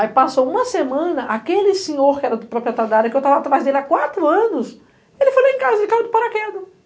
Aí passou uma semana, aquele senhor que era o proprietário da área que eu estava atrás dele há quatro anos, ele foi lá em casa, ele caiu do paraquedas.